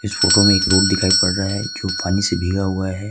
इस फोटो में एक रोड दिखाई पड़ रहा है जो पानी से भीगा हुआ है।